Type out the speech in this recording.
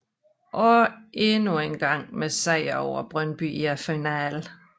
Og endnu engang med sejr over Brøndby i finalen